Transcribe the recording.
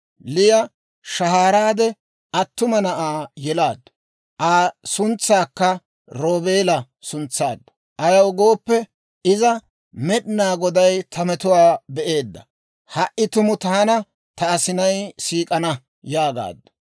Liya shahaaraade attuma na'aa yelaaddu. Aa suntsakka Roobeela suntsaaddu; ayaw gooppe iza, «Med'inaa Goday ta metuwaa be'eedda; ha"i tumu taana ta asinay siik'ana» yaagaaddu.